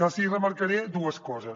els hi remarcaré dues coses